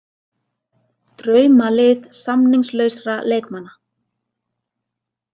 Draumalið samningslausra leikmanna